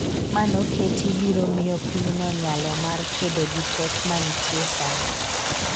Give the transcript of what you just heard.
manoketi biro miyo pinyno nyalo mar kedo gi pek manitiye sani